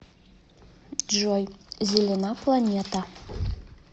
джой зелена планета